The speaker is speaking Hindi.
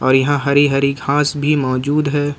यहां हरी हरी घास भी मौजूद है।